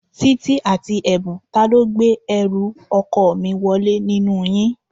Títí àti Ẹ̀bùn, ta ló gbé ẹrù ọkọ mi wọlé nínú yín?